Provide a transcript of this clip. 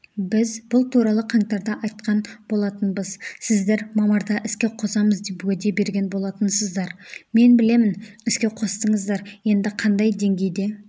біз бұл туралы қаңтарда айтқан болатынбыз сіздер мамырда іске қосамыз деп уәде берген болатынсыздар мен білемін іске қостыңыздар енді қандай деңгейде